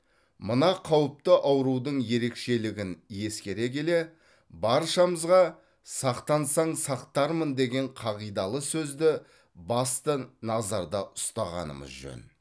мына қауіпті аурудың ерекшелігін ескере келе баршамызға сақтансаң сақтармын деген қағидалы сөзді басты назарда ұстағанымыз жөн